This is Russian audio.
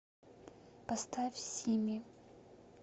поставь сими